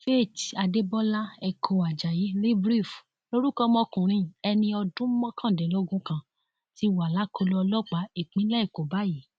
faith adébọlá ẹkọ ajayi libreef lorúkọ ọmọkùnrin ẹni ọdún mọkàndínlógún kan ti wà lákọlò ọlọpàá ìpínlẹ èkó báyìí